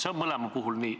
See on mõlema puhul nii.